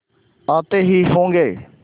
आते ही होंगे